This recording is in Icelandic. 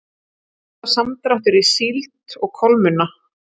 Milljarða samdráttur í síld og kolmunna